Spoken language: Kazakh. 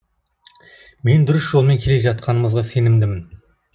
мен дұрыс жолмен келе жатқанымызға сенімдімін